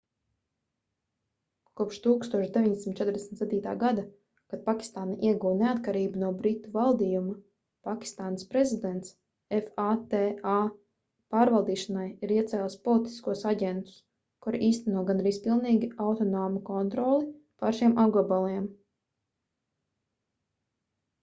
kopš 1947. gada kad pakistāna ieguva neatkarību no britu valdījuma pakistānas prezidents fata pārvaldīšanai ir iecēlis politiskos aģentus kuri īsteno gandrīz pilnīgi autonomu kontroli pār šiem apgabaliem